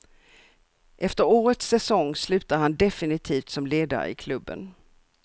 Efter årets säsong slutar han definitivt som ledare i klubben.